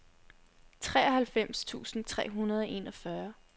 treoghalvfems tusind tre hundrede og enogfyrre